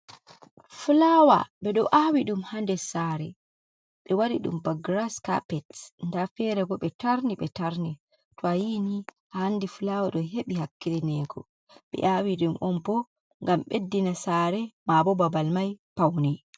Fulawa ɓe ɗo awi ɗum haa des saare, ɓe waɗi ɗum ba giras carpet, nda feerego ɓe tarni ɓe tarni, to a yiini andi fulawa ɗo heɓi hakkilinego. Ɓe awi ɗum on bo ngam ɓeddina saare maabo babal mai pauni.